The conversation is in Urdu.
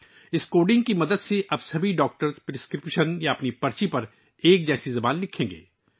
اس کوڈنگ کی مدد سے اب تمام ڈاکٹر اپنے نسخوں یا پرچیوں پر ایک ہی زبان لکھیں گے